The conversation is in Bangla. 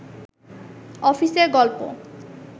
অফিসের গল্প